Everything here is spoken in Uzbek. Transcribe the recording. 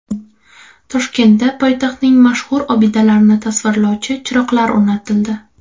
Toshkentda poytaxtning mashhur obidalarini tasvirlovchi chiroqlar o‘rnatildi.